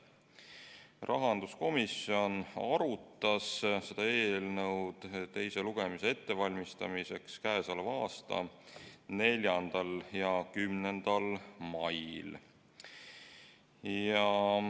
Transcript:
Rahanduskomisjon arutas seda eelnõu teiseks lugemiseks ette valmistades k.a 4. ja 10. mail.